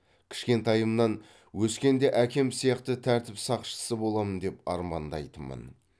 кішкентайымнан өскенде әкем сияқты тәртіп сақшысы боламын деп армандайтынмын